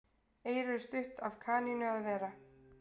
Eyru eru stutt af kanínu að vera.